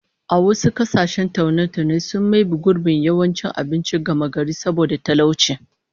A wasu kasashen kayan taune-taune sun maybe gurbin yawancin abinci gamagari saboda talauci